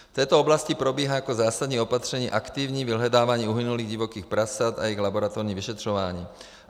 V této oblasti probíhá jako zásadní opatření aktivní vyhledávání uhynulých divokých prasat a jejich laboratorní vyšetřování.